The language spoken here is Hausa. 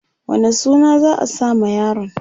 wane suna za'a sa ma yaron?